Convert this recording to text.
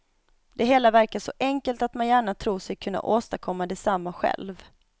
Det hela verkar så enkelt att man gärna tror sig kunna åstadkomma detsamma själv.